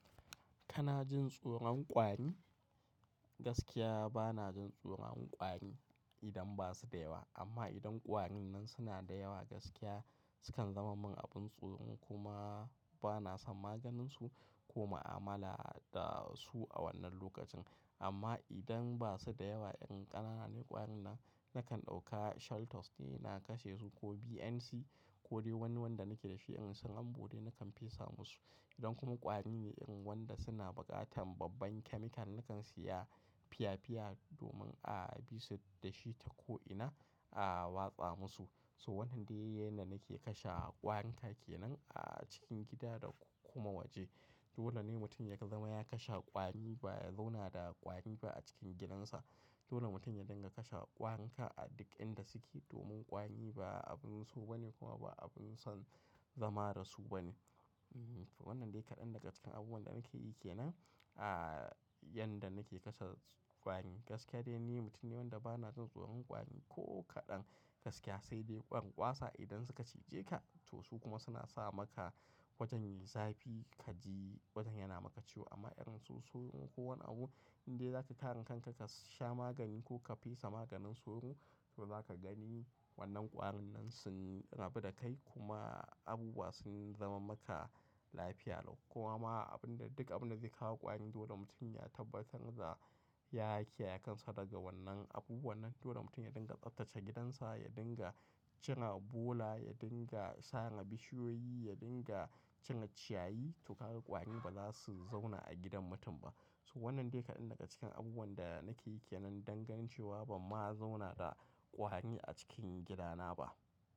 Kana jin tsoron ƙwari? Gaskiya bana jin tsoron ƙwari idan ba su da yawa. Amma idan ƙwarin nan suna da yawa, gaskiya sukan zama min abin tsoro kuma bana san maganinsu ko ma'amala da su a wannan lokacin. Amma idan ba su da yawa, in ƙanana ne ƙwarin nan, nakan ɗauka shelters na kashe su ko BNC ko dai wani wanda nake da shi in sun ambode nakan fesa musu. Idan kuma ƙwari ne in wanda suna buƙatar babban chemical, nakan siya fiya fiya domin a'a bisu da shi ta ko'ina a watsa musu. So wannan dai yake na nake kashe ƙwarin take nan a cikin gida da kuma waje. Dole ne mutum ya zama ya kashe ƙwari ba ya zauna da ƙwari ba a cikin gidansa. Dole mutum ya dinga kashe ƙwarin ka a duk inda suke domin ƙwari ba abin so ba ne kuma ba abun son zama da su ba ne. Wannan dai kaɗan daga cikin abubuwan da nake yi ke nan a yadda nake kashe ƙwari. Gaskiya dai ni mutum ne wanda bana jin tsoron ƙwari ko kaɗan. Gaskiya sai dai ƙwan ƙwasa idan suka cije ka to su kuma suna sa maka wajen yayi zafi ka ji wajen yana maka ciwo amma in sun sauro ko wani abu in dai zaka karin kanka ka sha magani ko ka fesa maganin soro to za ka gani wannan ƙwarin nan sun rabu da kai kuma abubuwa sun zama maka lafiya lau. Kuma abin da duk abin da zai kawo ƙwari dole mutum ya tabbatar za ya hakaya kansa daga wannan abu. Wannan dole mutum ya dinga tsattace gidansa, ya dinga cire bola, ya dinga sare bishiyoyi, ya dinga cire ciyayi to kaga kwari ba za su zauna a gidan mutum ba. So wannan dai kaɗan daga cikin abubuwan da nake yi ke nan don ganin cewa ban ma zauna da ƙwari a cikin gidana ba.